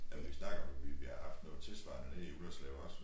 Ja vi snakker om vi vi har haft noget tilsvarende nede i Ullerslev også